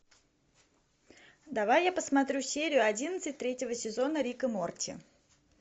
давай я посмотрю серию одиннадцать третьего сезона рик и морти